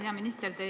Hea minister!